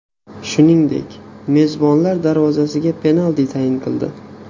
Shuningdek, mezbonlar darvozasiga penalti tayin qildi.